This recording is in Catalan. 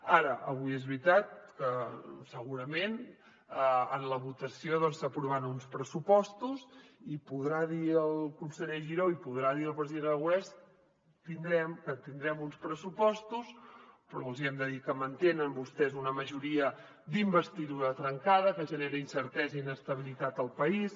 ara avui és veritat que segurament en la votació s’aprovaran uns pressupostos i podrà dir el conseller giró i podrà dir el president aragonès que tindrem uns pressupostos però els hi hem de dir que mantenen vostès una majoria d’investidura trencada que genera incertesa i inestabilitat al país